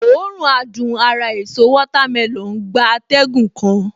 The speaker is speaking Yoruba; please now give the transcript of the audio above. Òórùn adùn ara èso watermelon gba atẹ́gùn kan